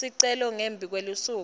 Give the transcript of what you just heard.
sicelo ngembi kwelusuku